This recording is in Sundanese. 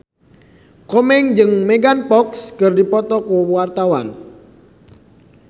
Komeng jeung Megan Fox keur dipoto ku wartawan